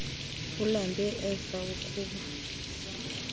ulambe ufe ukba